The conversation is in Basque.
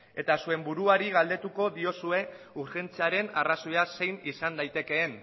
eta zuen buruari galdetuko diozue urgentziaren arrazoia zein izan daitekeen